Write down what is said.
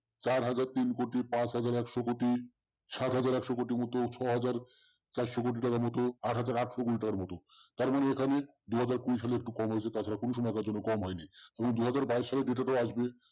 চার হাজার তিন কোটি পাঁচ হাজার একশো কোটি সাথ হাজার কোটি মত ছ হাজার চারশো কোটি টাকার ছারস আট হাজার আথস কোটি টাকার মতো তার মানে এখানে দুই হাজার কুড়ি সালে একটু কম হয়েছে তাছারা কোন সময়ের জন্য কম হয়নি দু হাজার বাইয়েস সালের ডাটা তো আসবেই